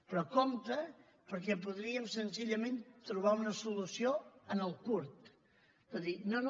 però compte perquè podríem senzillament trobar una solució en el curt de dir no no